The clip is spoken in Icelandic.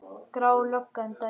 Gráa löggan dæsir.